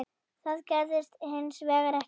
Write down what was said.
Það gerðist hins vegar ekki.